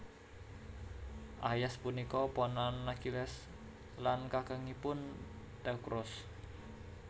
Aias punika ponakan Akhilles lan kakangipun Teukros